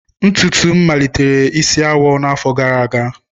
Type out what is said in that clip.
Ntutu m malitere isi awọ n'afọ gara aga.